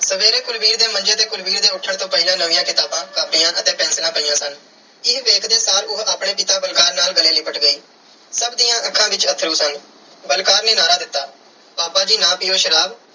ਸਵੇਰੇ ਕੁਲਵੀਰ ਦੇ ਮੰਜੇ ਤੇ ਕੁਲਵੀਰ ਦੇ ਉੱਠਣ ਤੋੋਂ ਪਹਿਲਾਂ ਨਵੀਆਂ ਕਿਤਾਬਾਂ, ਕਾਪੀਆਂ ਅਤੇ ਪੈਨਸਿਲਾਂ ਪਈਆਂ ਸਨ। ਇਹ ਵੇਖਦੇ ਸਾਰ ਉਹ ਆਪਣੇ ਪਿਤਾ ਬਲਕਾਰ ਨਾਲ ਗਲੇ ਲਿਪਟ ਗਈ। ਸਭ ਦੀਆਂ ਅੱਖਾਂ ਵਿੱਚ ਅੱਥਰੂ ਸਨ। ਬਲਕਾਰ ਨੇ ਨਾਅਰਾ ਦਿੱਤਾ ਪਾਪਾ ਜੀ ਨਾ ਪੀਓ ਸ਼ਰਾਬ,